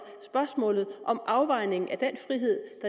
spørgsmålet om en afvejning af den frihed